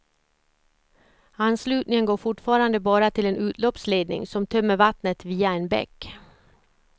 Anslutningen går fortfarande bara till en utloppsledning som tömmer vattnet via en bäck.